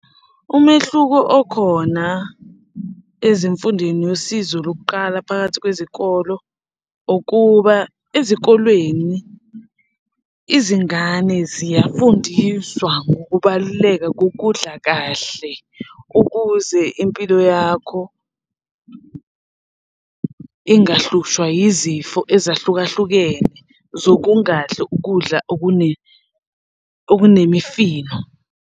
Umehluko okhona ezimfundeni nosizo lokuqala phakathi kwezikolo ukuba ezikolweni izingane ziyafundiswa ngokubaluleka kokudla kahle ukuze impilo yakho ingahlushwa yizifo ezahlukahlukene zokungadli ukudla okunemifino.